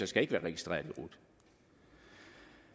skal ikke være registreret